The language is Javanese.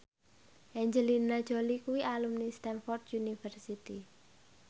Angelina Jolie kuwi alumni Stamford University